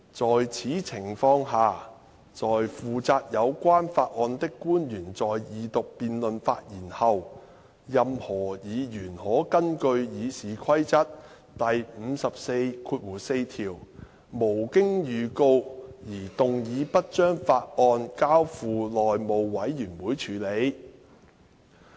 在此情況下，在負責有關法案的官員在二讀辯論發言後，任何議員可根據《議事規則》第544條，無經預告而動議不將法案交付內務委員會處理。